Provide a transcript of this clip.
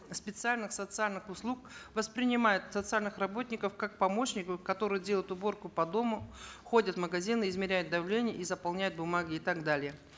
специальных социальных услуг воспринимают социальных работников как помощников которые делают уборку по дому ходят в магазины измеряют давление и заполняют бумаги и так далее